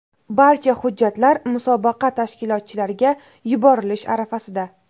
Barcha hujjatlar musobaqa tashkilotchilariga yuborilish arafasida.